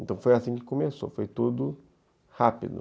Então foi assim que começou, foi tudo rápido.